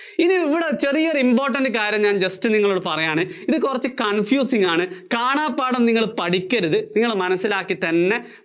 ഇനി ഇവിടെ ഒരു important കാര്യം ഞാന്‍ just നിങ്ങളോട് പറയ്യാണ്. ഇത് കുറച്ച് confusing ആണ്. കാണാപ്പാഠം നിങ്ങള്‍ പഠിക്കരുത്. നിങ്ങള്‍ മനസ്സിലാക്കി തന്നെ